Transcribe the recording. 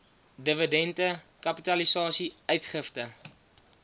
dividende kapitalisasie uitgifte